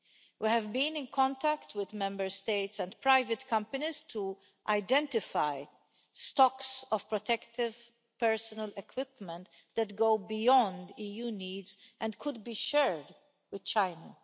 We have been in contact with Member States and private companies to identify stocks of protective personal equipment that go beyond EU needs and could be shared with China.